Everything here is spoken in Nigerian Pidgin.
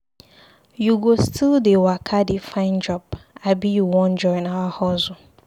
You go still dey waka dey find job abi you wan join our hustle?